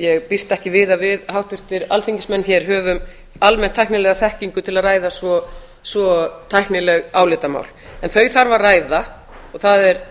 ég býst ekki við að við háttvirtir alþingismenn höfum almennt tæknilega þekkingu til að ræða svo tæknileg álitamál en þau þarf að ræða og